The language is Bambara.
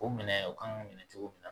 O minɛ o kan k'o minɛ cogo min na